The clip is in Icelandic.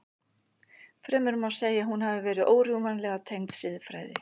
Fremur má segja að hún hafi verið órjúfanlega tengd siðfræði.